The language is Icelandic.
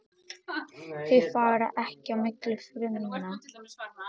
Þau fara ekki á milli frumna.